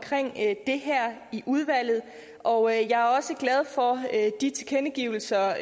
det her i udvalget og jeg er også glad for de tilkendegivelser